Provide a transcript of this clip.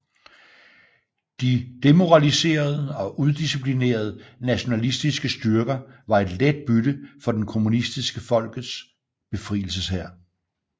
De demoraliserede og udisciplinerede nationalistiske styrker var et let bytte for den kommunistiske Folkets Befrielseshær